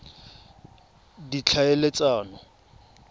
ditlhaeletsano